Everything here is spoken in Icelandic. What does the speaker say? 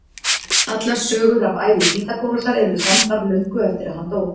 Allar sögur af ævi Pýþagórasar eru samdar löngu eftir að hann dó.